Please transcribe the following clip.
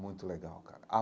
Muito legal, cara.